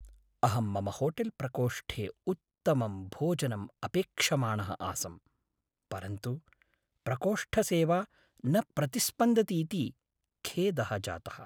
अहं मम होटेल्प्रकोष्ठे उत्तमं भोजनम् अपेक्षमाणः आसम्, परन्तु प्रकोष्ठसेवा न प्रतिस्पन्दतीति खेदः जातः।